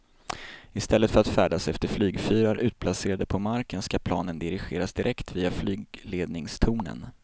I stället för att färdas efter flygfyrar utplacerade på marken ska planen dirigeras direkt via flygledningstornen.